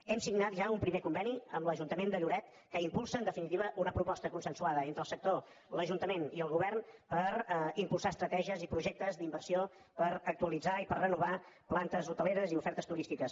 hem signat ja un primer conveni amb l’ajuntament de lloret que impulsa en definitiva una proposta consensuada entre el sector l’ajuntament i el govern per impulsar estratègies i projectes d’inversió per actualitzar i per renovar plantes hoteleres i ofertes turístiques